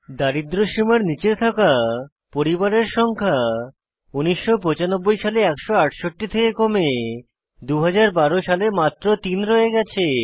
দারিদ্র্য সীমার নীচে থাকা পরিবারের সংখ্যা 1995 সালে 168 থেকে কমে 2012 সালে মাত্র 3 রয়ে গেছে